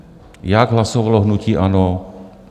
Jak hlasovalo hnutí ANO?